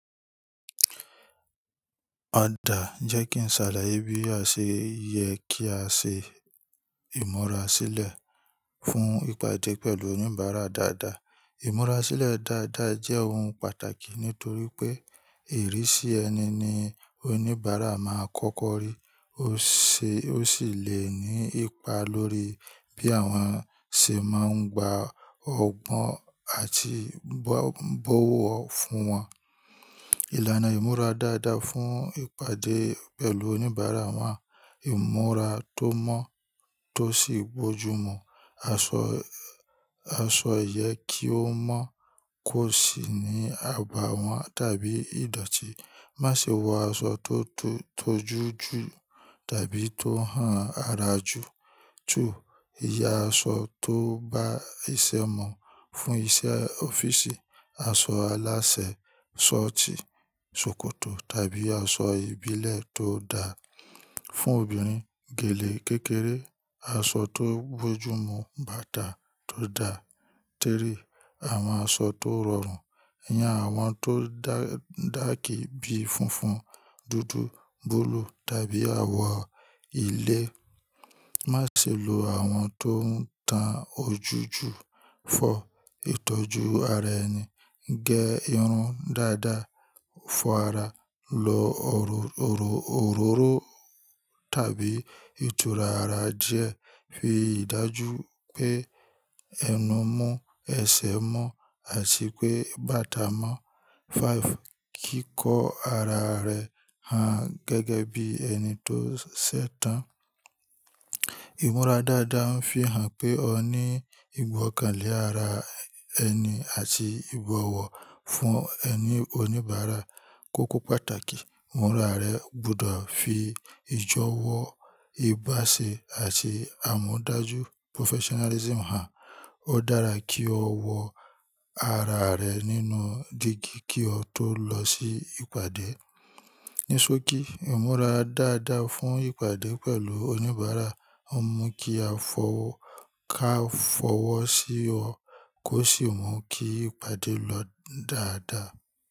Ó da, jẹ́ kí n ṣàlàyé bí a ṣe yẹ kí a ṣe ìmúra sílẹ̀ fún ìpàdé pẹ̀lú oníbàárà dáadáa. Ìmúra sílẹ̀ dáadáa jẹ́ ohun pàtàkì nítorí pé ìrísí ẹni ni oníbàárà máa kọ́kọ́ rí ó ṣe, ó sì le ní ipa lórí bí àwọn ṣe máa ń gba ọgbọ́n àti bòwọ̀ fún wọn. Ìlànà ìmúra dáadáa fún ìpàdé pẹ̀lú oníbàárà wà. Ìmúra tó mọ́ tó sì bójúmu. Aṣọ, aṣọ yẹ kí ó mọ́, ti kó sì ní àbàwón tàbí ìdọ̀tí. Má ṣe wọ aṣọ tó jojú jù tàbí tó hàn ara jù. Two, yàn aṣọ tó bá iṣẹ́ mu. Fún iṣẹ́ ọ́fíìsì, aṣọ alásẹ̀, sọ́ọ̀tì, ṣòkòtò tàbí aṣọ ìbílẹ̀ tó dáa. Fún obìnrin, gèlè kékeré, aṣọ tó bójúmu, bàtà tó dà. Three, àwọn aṣọ tó rọrùn. Yàn àwọn tó dákì bíi funfun, dúdú, búlúù tàbí àwọ̀ ilé. Má ṣe lo àwọn tó ń tan ojú jù. Four, ìtọ́jú ara ẹni. Gẹ irun dáadáa, fọ ara, lo òróró tàbí ìtura ara díẹ̀. Fi ìdájú pé ẹnu mọ́, ẹsẹ̀ mọ́ àti pé bàtà mọ́. Five, kíkó ara rẹ hàn gẹ́gẹ́ bí ẹni tó ṣẹ̀ tán. Ìmúra dáadáa ń fihàn pé o ní ìgbọ́kànlé ara ẹni àti ìbọ̀wọ̀ fún ẹni oníbàárà. Kókó pàtàkì, ìmúra rẹ ó gbùdó fi ìjọwọ ìbáṣẹ àti àmòdajú professionalism hàn. Ó dárá kí ó wọ ara rẹ nínú dígí kí ó tó lọ sí ìpàdé. Ní sókí, ìmúra dáadáa fún ìpàdé pẹ̀lú oníbàárà ó mú kí àfọwọ́ káfọwọ́ sí ọ kó sì mú kí ìpàdé lọ dáadáa.